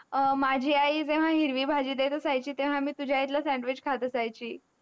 अ माझी आई तेवा हिरवी भाजी देत असायची तेव्हा मी तुझा इटला sandwich खात असायची.